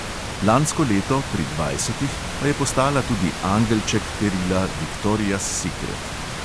Lansko leto, pri dvajsetih, pa je postala tudi angelček perila viktorias sikret.